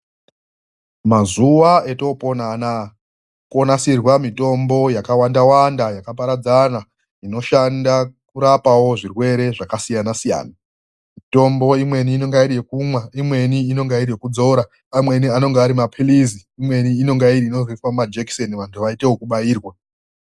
Mazuva atopona anawa konasirwa mitombo yakawanda Wanda yakaparadzana inoshanda kurapa zvirwere zvakasiyana siyana mitombo imweni inenge iri yekumwa imweni inenge iri yekuzora imweni inozoitwa zvekuiswa Muma jekiseni vantu vozoita zvekubairwa.